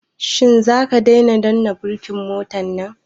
Shin zaka daina danna birkin motan nan?